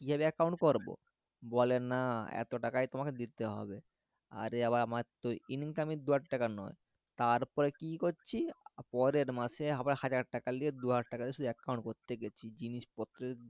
কিয়ের account করবো বলে না এত টাকা তোমাকে দিতে হবে আরেআবার আমার তো income দুহাজার টাকা নোই তার পরে কি করছে পরের মাসে আবার হাজার লিয়ে দুহাজার লিয়ে শুধু account করতে গেছি যে জিনিস পত্র